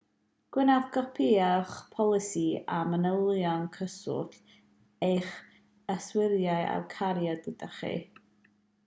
gwnewch gopïau o'ch polisi a manylion cyswllt eich yswiriwr a'u cario gyda chi